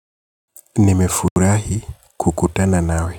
Nimefurahi kukutana nawe.